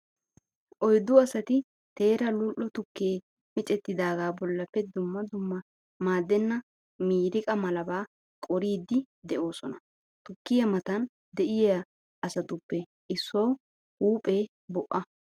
Oyddu asati teera lul'o tukkee micettidaagaa bollappe dumma dumma maaddenna miiriqa malabaa qoriiddi de"oosona. Tukkiyaa matan de'iyaa asatuppe issuwawu huuphee bo'a.